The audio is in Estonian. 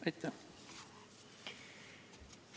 Aitäh!